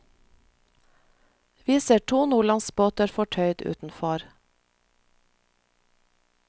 Vi ser to nordlandsbåter fortøyd utenfor.